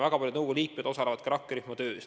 Väga paljud nõukogu liikmed osalevad ka rakkerühma töös.